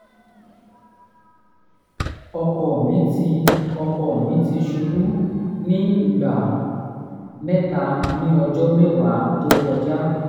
ọkọ mi ti ọkọ mi ti ṣubú ní ìgbà mẹ́ta ní ọjọ́ mẹ́wàá tó kọjá